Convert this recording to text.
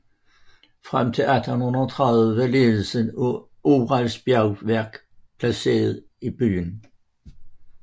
Frem til 1830 var ledeldelsen af Urals bjergværk placeret i byen